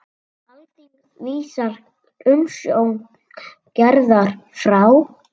Alþingi vísar umsókn Gerðar frá.